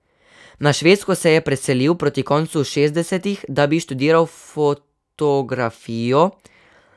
Na Švedsko se je preselil proti koncu šestdesetih, da bi študiral fotografijo.